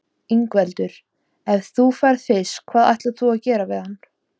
Ingveldur: Ef þú færð fisk, hvað ætlar þú að gera við hann?